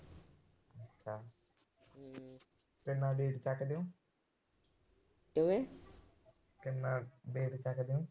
ਕਿੰਨਾ ਵੇਟ ਚੱਕਦੇ ਓ। ਕਿੰਨਾ ਵੇਟ ਚੱਕਦੇ ਓ।